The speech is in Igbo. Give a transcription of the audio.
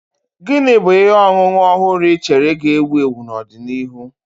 Gini bu ihe ọṅụṅụ ọhụrụ ị chere ga-ewu ewu n'ọdịnihu?